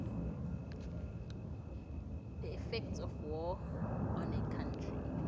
the effects of war on a country